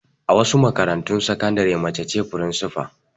A wasu makarantun sakandare mace ce firinsifa.